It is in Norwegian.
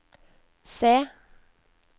se